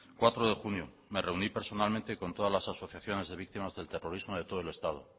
cuatro de junio me reuní personalmente con todas las asociaciones de víctimas del terrorismo de todo el estado